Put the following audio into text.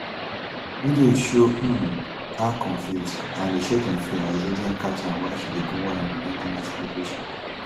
video show um her confused and dey shake in fear as agents catch am while she dey go one ramadan dinner celebration